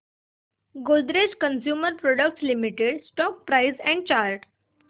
Godrej consumer products limited stock price and chart